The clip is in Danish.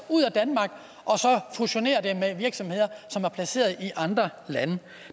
fusionere med virksomheder som er placeret i andre lande